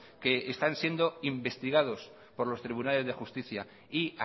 que están siendo investigados por los tribunales de justicia y